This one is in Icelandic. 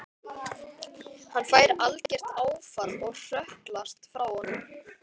Hann fær algert áfall og hrökklast frá honum.